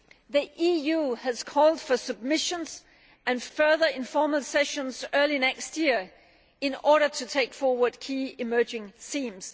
the EU has called for submissions and further informal sessions early next year in order to take forward key emerging themes.